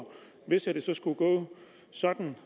hvis det skulle gå sådan